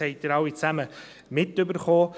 Dies haben Sie alle mitgekriegt.